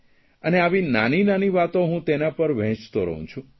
અને આવી નાનીનાની વાતો હું તેના પર વહેંચતો રહું છું